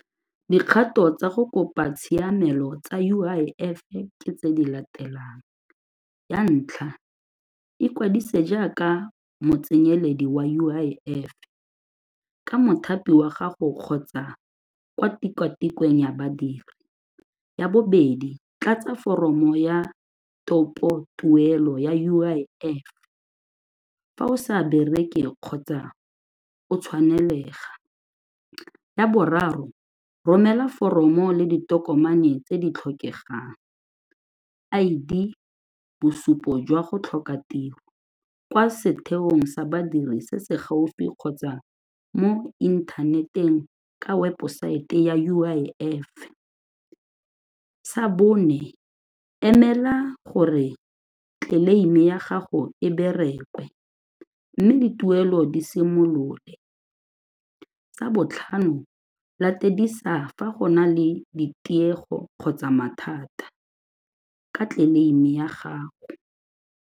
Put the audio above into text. Dikgato tsa go kopa tshiamelo tsa U_I_F-e ke tse di latelang ya ntlha, ikwadise jaaka motsenyeledi wa U_I_F-e, ka mothapi wa gago kgotsa kwa tikwatikweng ya badiri. Ya bobedi, tlatsa foromo ya topotuelo ya U_I_F fa o sa bereke kgotsa o tshwanelega. Ya boraro, romela foromo le ditokomane tse di tlhokegang I_D, bosupo jwa go tlhoka tiro kwa setheong sa badiri se se gaufi kgotsa mo inthaneteng ka weposaete ya U_I_F-e. Sa bone, emela gore tleleime ya gago e bereke mme dituelo di simolole. Sa botlhano latedisa fa go na le ditiego kgotsa mathata ka tleleime ya gago.